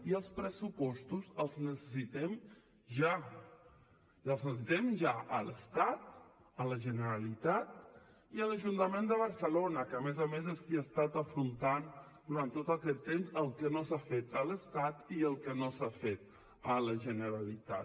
i els pressupostos els necessitem ja i els necessitem ja a l’estat a la generalitat i a l’ajuntament de barcelona que a més a més és qui ha estat afrontant durant tot aquest temps el que no s’ha fet a l’estat i el que no s’ha fet a la generalitat